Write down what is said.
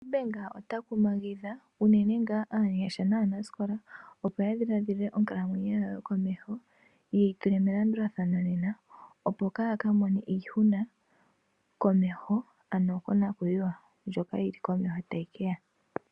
Nedbank ota kumangidha unene nga aanyasha na nasikola opo ya dhiladhile onkalamwenyo yawo yokomeho yeyi tule melandulathano nena opo ka kamone iihuna komeho ano konakuyiwa ndjoka yili komeho tayiya.